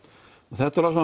þetta eru